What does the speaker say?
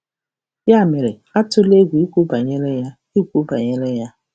Ya mere, atụla egwu ikwu banyere ya. ikwu banyere ya.